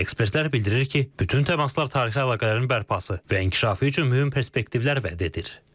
Ekspertlər bildirir ki, bütün təmaslar tarixi əlaqələrin bərpası və inkişafı üçün mühüm perspektivlər vəd edir.